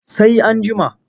Sai an jima.